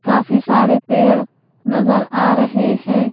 काफी सारे पेड़ नजर आ रहे हैं।